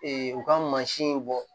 u ka mansinw bɔ